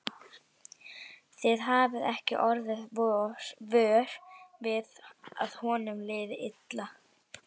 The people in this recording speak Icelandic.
Þið hafið ekki orðið vör við að honum liði illa?